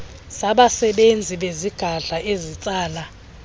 zabasebenzi bezigadla ezitsala